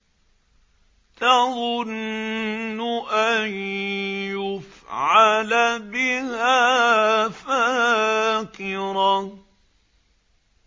تَظُنُّ أَن يُفْعَلَ بِهَا فَاقِرَةٌ